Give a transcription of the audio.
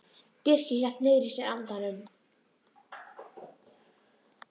Birkir hélt niðri í sér andanum.